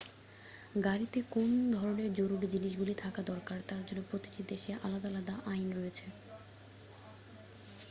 গাড়িতে কোন ধরণের জরুরি জিনিসগুলি থাকা দরকার তার জন্য প্রতিটি দেশে আলাদা আলাদা আইন রয়েছে